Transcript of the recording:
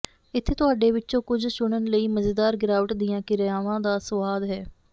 ਇੱਥੇ ਤੁਹਾਡੇ ਵਿਚੋਂ ਕੁਝ ਚੁਣਨ ਲਈ ਮਜ਼ੇਦਾਰ ਗਿਰਾਵਟ ਦੀਆਂ ਕਿਰਿਆਵਾਂ ਦਾ ਸੁਆਦ ਹੈ